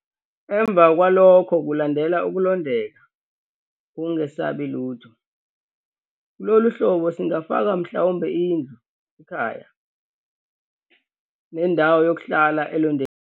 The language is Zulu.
Emva kwalokhu kulandela ukulondeka, ukungesabi lutho. Kulolu hlobo singafaka mhlawumbe indlu, ikhaya, nendawo yokuhlala elondekile.